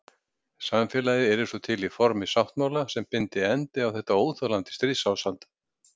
Samfélagið yrði svo til í formi sáttmála sem byndi endi á þetta óþolandi stríðsástand.